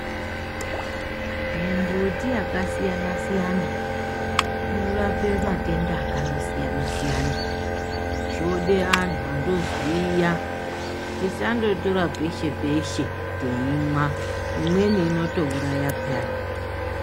Mimbuti yakasiyana-siyana, inorape matenda akandosiyana-siyana, zvode antu andoziya tisandotora peshe-peshe teimwa. Imweni inotouraya peyani.